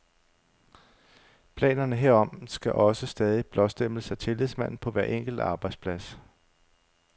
Planerne herom skal også stadig blåstemples af tillidsmanden på hver enkelt arbejdsplads.